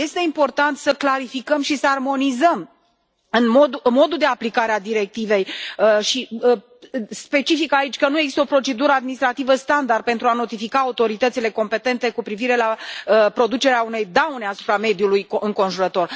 Este important să clarificăm și să armonizăm modul de aplicare a directivei și specific aici că nu este o procedură administrativă standard pentru a notifica autoritățile competente cu privire la producerea unei daune asupra mediului înconjurător.